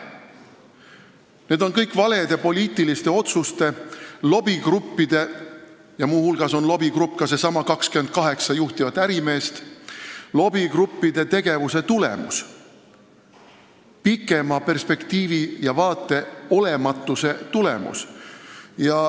See on kõik valede poliitiliste otsuste ja lobigruppide – muu hulgas on lobigrupp needsamad 28 juhtivat ärimeest – tegevuse tulemus, pikema perspektiivi ja vaate olematuse tulemus.